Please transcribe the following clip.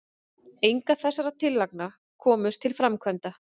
engar þessara tillagna komust til framkvæmda